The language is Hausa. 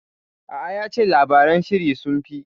A'a, ya ce labaran sihiri sun fi.